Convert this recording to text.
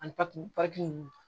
Ani papiye papiye ninnu